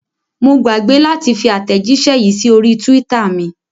Mo gbàgbé láti fi àtẹ̀jíṣẹ́ yìí sí orí twitter mi.